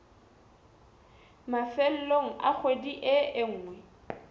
mafelong a kgwedi e nngwe